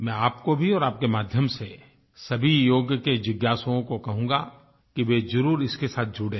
मैं आपको भी और आपके माध्यम से सभी योग के जिज्ञासुओं को कहूँगा कि वे ज़रूर इसके साथ जुड़ें